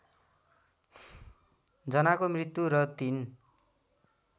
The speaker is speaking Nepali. जनाको मृत्यु र ३